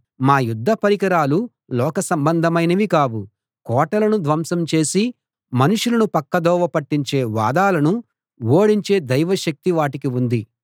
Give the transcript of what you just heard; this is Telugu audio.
మా యుద్ధ పరికరాలు లోక సంబంధమైనవి కావు కోటలను ధ్వంసం చేసి మనుషులను పక్కదోవ పట్టించే వాదాలను ఓడించే దైవ శక్తి వాటికి ఉంది